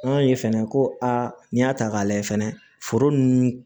An y'a ye fɛnɛ ko aa n'i y'a ta k'a lajɛ fɛnɛ foro nunnu